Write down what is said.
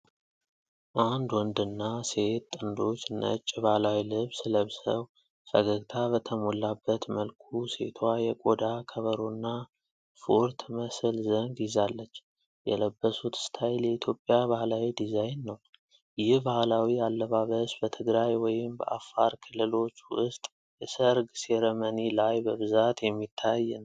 አንድ ወንድና ሴት ጥንዶች ነጭ ባህላዊ ልብስ ለብሰው፣ ፈገግታ በተሞላበት መልኩ ሴቷ የቆዳ ከበሮና ፉር ትመስል ዘንግ ይዛለች። የለበሱት ስታይል የኢትዮጵያ ባህላዊ ዲዛይን ነው። ይህ ባህላዊ አለባበስ በትግራይ ወይም በአፋር ክልሎች ውስጥ የሰርግ ሴረመኒ ላይ በብዛት የሚታይ ነው?